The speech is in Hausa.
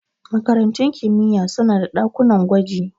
Makarantun kimiyya suna da ɗakunan gwaji.